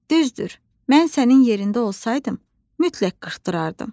Düzdür, mən sənin yerində olsaydım, mütləq qırxdırardım.